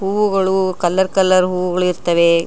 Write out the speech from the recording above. ಹೂವುಗಳು colour colour ಹೂವುಗಳು ಇರ್ತವೆ.